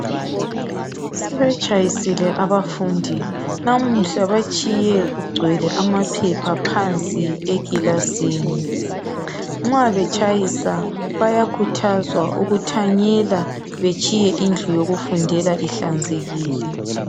sebetshayisile abafundi namuhla batshiye kugcwele amaphepha phansi ekilasini nxa betshayisa bayakhuthazwa ukuthanyela betshiye indlu yokufundela ihlanzekile